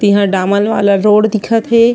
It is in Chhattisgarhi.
तिहा डामर वाला रोड दिखत हे।